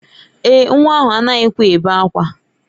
Èè, nwa ahụ anaghịkwa ebe ákwá.